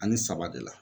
Ani saba de la